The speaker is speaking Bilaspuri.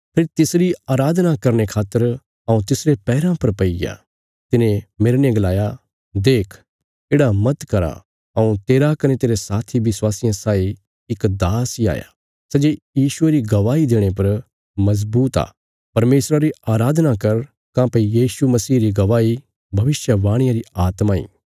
फेरी तिसरी अराधना करने खातर हऊँ तिसरे पैराँ पर पैईग्या तिने मेरने गलाया देख येढ़ा मत करा हऊँ तेरा कने तेरे साथी विश्वासियां साई इक दास इ हाया सै जे यीशुये री गवाही देणे पर मजबूत आ परमेशरा री अराधना कर काँह्भई यीशु मसीह री गवाही भविष्यवाणिया री आत्मा इ